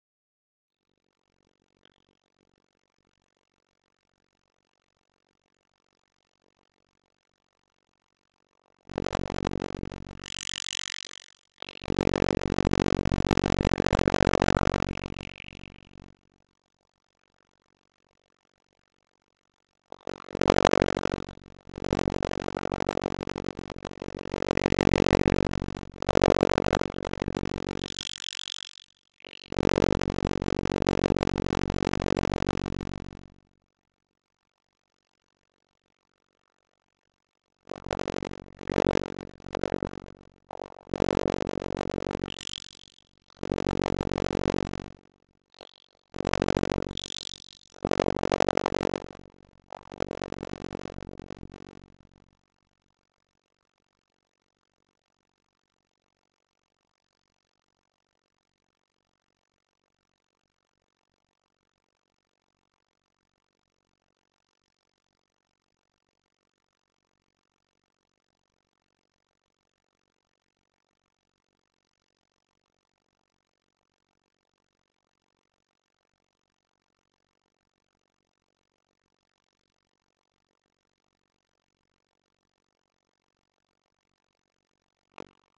Hún skynjar hvernig hann iðar í skinninu að geta komist út með strákunum.